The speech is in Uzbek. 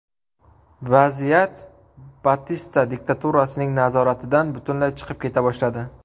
Vaziyat Batista diktaturasining nazoratidan butunlay chiqib keta boshladi.